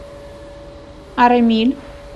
арамиль